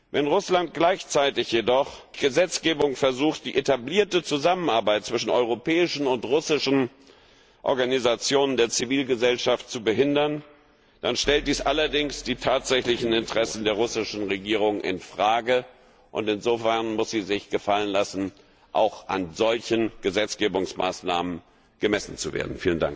Wenn Russland jedoch gleichzeitig durch Gesetzgebung versucht, die etablierte Zusammenarbeit zwischen europäischen und russischen Organisationen der Zivilgesellschaft zu behindern, dann stellt dies allerdings die tatsächlichen Interessen der russischen Regierung infrage, und insofern muss sie sich gefallen lassen, auch an solchen Gesetzgebungsmaßnahmen gemessen zu werden.